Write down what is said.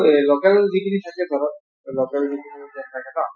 local যিখিনি থাকে ধৰক local থাকে ন